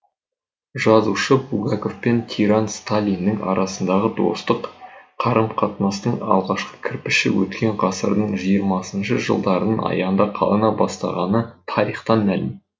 жазушы булгаков пен тиран сталиннің арасындағы достық қарым қатынастың алғашқы кірпіші өткен ғасырдың жиырмасыншы жылдарының аяғында қалана бастағаны тарихтан мәлім